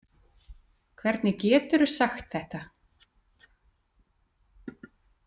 Hvernig geturðu sagt þetta?